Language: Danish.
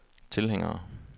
tilhængere